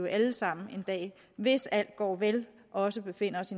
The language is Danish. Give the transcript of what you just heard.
alle sammen en dag hvis alt går vel også befinder os